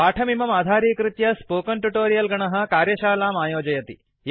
पाठमिमम् आधारीकृत्य spoken tutorial गणः कार्यशालाम् आयोजयति